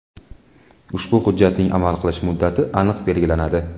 Ushbu hujjatning amal qilish muddati aniq belgilanadi.